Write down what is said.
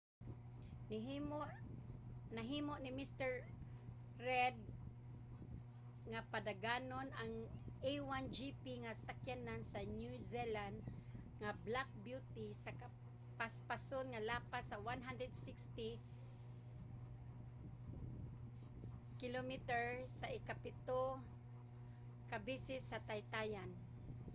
nahimo ni mr. reid nga padaganon ang a1gp nga sakyanan sa new zealand nga black beauty sa kapaspason nga lapas sa 160 km/h sa ikapito ka beses sa taytayan